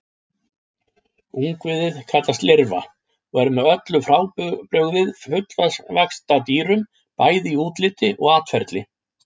Ungviðið kallast lirfa og er með öllu frábrugðið fullvaxta dýrum, bæði í útliti og atferli.